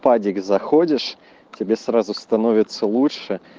заходишь тебе сразу становится лучше